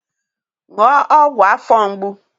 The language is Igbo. Ṅụọ ọgwụ afọ mgbu!